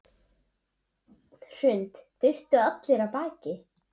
Hrund: Duttu allir af baki?